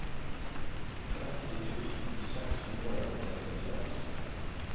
tretti tusen seks hundre og trettiseks